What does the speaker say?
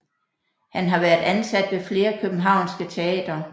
Han har været ansat ved flere Københavnske teatre